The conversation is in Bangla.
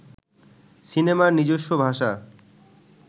সিনেমার নিজস্ব ভাষা